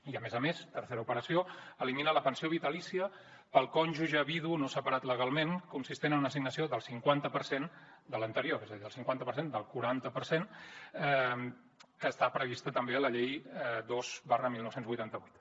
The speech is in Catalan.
i a més a més tercera operació eliminar la pensió vitalícia per al cònjuge vidu no separat legalment consistent en una assignació del cinquanta per cent de l’anterior és a dir el cinquanta per cent del quaranta per cent que està prevista també a la llei dos dinou vuitanta vuit